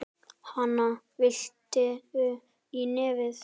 Hana, viltu í nefið?